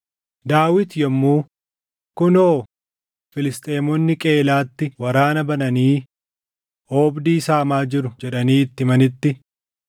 Daawit yommuu, “Kunoo, Filisxeemonni Qeyiilaatti waraana bananii oobdii saamaa jiru” jedhanii itti himanitti,